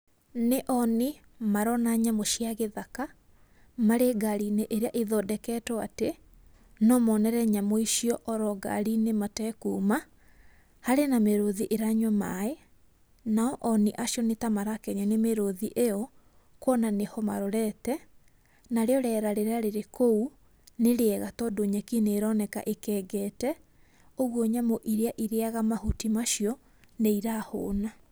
Nĩ oni marona nyamũ cia gĩthaka marĩ ngariinĩ ĩria ĩthondeketwo atĩ no monere nyamũ icio oro ngari-inĩ ona matekuma. Harĩ na mĩrũthi ĩranyua maĩ no oni acio nĩmarakenio nĩ mĩrũthi ĩyo kuona nĩho marorete. Narĩo rĩera rĩrĩa rĩrĩ kũu nĩ rĩega tondu nyeki nĩironeka ikengete kwoguo nyamũ iria irĩaga mahuti macio nĩirahũna.